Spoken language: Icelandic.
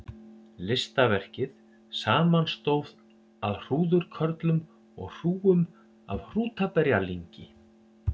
Listaverkið samanstóð af hrúðurkörlum og hrúgum af hrútaberjalyngi.